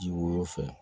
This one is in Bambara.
Ji woyo fɛn